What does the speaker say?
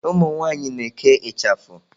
Umu nwanyị na-eke ịchafụ.